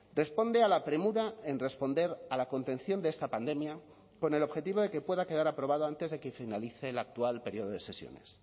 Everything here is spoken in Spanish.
responde a la premura en responder a la contención de esta pandemia con el objetivo de que pueda quedar aprobado antes de que finalice el actual periodo de sesiones